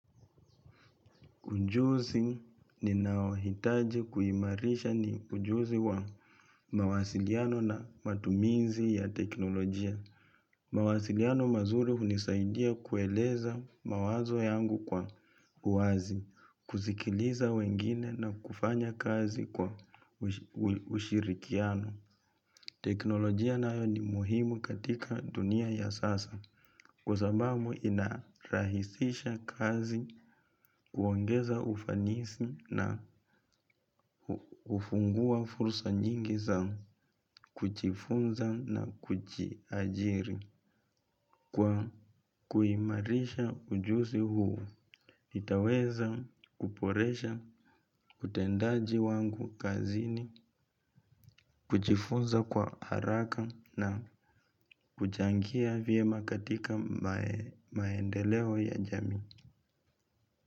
Ujuzi ninao hitaji kuhimarisha ni ujuzi wa mawasiliano na matumizi ya teknolojia. Mawasiliano mazuri unisaidia kueleza mawazo yangu kwa uazi, kuzikiliza wengine na kufanya kazi kwa ushirikiano. Teknolojia nayo ni muhimu katika dunia ya sasa kwa sababu inarahisisha kazi kuongeza ufanisi na ufungua fursa nyingi za kuchifunza na kuchiajiri kwa kuimarisha ujusi huu. Nitaweza kuporesha, kutendaji wangu kazini, kuchifunza kwa haraka na kuchangia viema katika maendeleo ya jami.